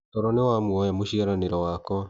Toro niwamuoya mũciaranĩro wakwa.